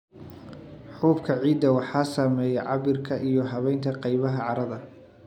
Xuubka ciidda waxa saameeya cabbirka iyo habaynta qaybaha carrada.